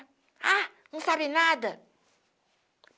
Ah, não sabe nada!